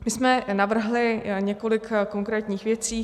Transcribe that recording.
My jsme navrhli několik konkrétních věcí.